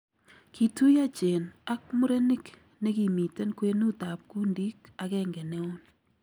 Kituyo Jane ak murenik nekimiten kwenut ab kundik agenge neon.